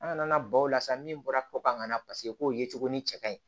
An nana baw la sa min bɔra ko kan ka na paseke k'o ye cogo ni cɛ ka ɲi